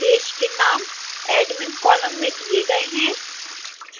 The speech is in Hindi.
देश के नाम admin कॉलम में दिए गए हैं